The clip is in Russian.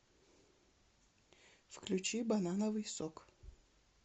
включи банановый сок